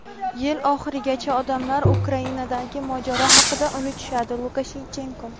Yil oxirigacha odamlar Ukrainadagi mojaro haqida unutishadi – Lukashenko.